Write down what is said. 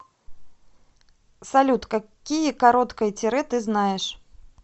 салют какие короткое тире ты знаешь